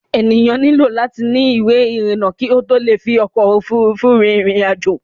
Enìyàn nílò láti ni ìwé ìrìnà kí ó tó le fi ọkò òfurufú rin ìrìn àjò.